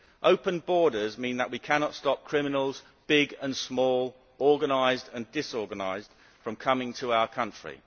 Open borders mean that we cannot stop criminals big and small, organised and disorganised from coming to our country.